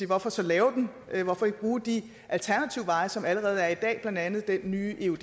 hvorfor så lave den hvorfor ikke bruge de alternative veje som allerede er der i dag blandt andet den nye eud